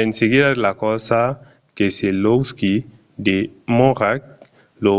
en seguida de la corsa keselowski demòra lo